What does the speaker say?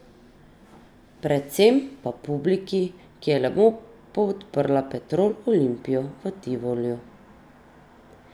Predvsem pa publiki, ki je lepo podprla Petrol Olimpijo v Tivoliju.